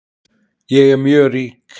Ég er mjög rík